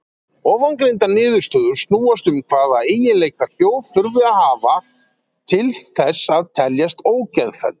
Ofangreindar niðurstöður snúast um hvaða eiginleika hljóð þurfi að hafa til þess að teljast ógeðfelld.